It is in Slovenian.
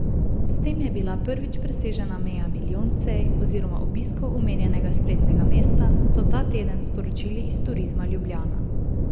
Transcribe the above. S tem je bila prvič presežena meja milijon sej oziroma obiskov omenjenega spletnega mesta, so ta teden sporočili iz Turizma Ljubljana.